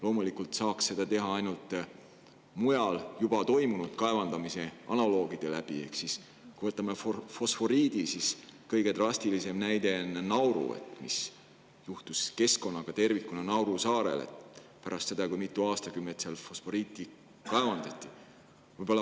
Loomulikult saab seda teha ainult mujal juba toimunud analoogsete kaevandamiste kaudu ehk siis fosforiidi puhul on kõige drastilisem näide Nauru: mis juhtus keskkonnaga tervikuna Nauru saarel pärast seda, kui seal mitu aastakümmet fosforiiti kaevandati.